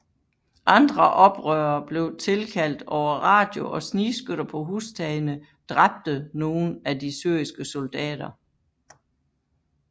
Andre oprørere blev tilkaldt over radio og snigskytter på hustagene dræbte nogen af de syriske soldater